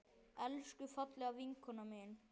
Elsku fallega vinkona mín.